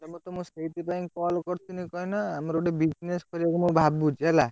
ମୁଁ ପରା ସେଇଥିପାଇଁ call କରି ଥିଲି କାହିଁକିନା ଆମର ଗୋଟେ business କରିବେ ବୋଲି ମୁଁ ଭାବୁଚି ହେଲା।